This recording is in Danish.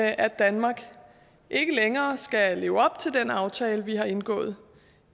at danmark ikke længere skal leve op til den aftale vi har indgået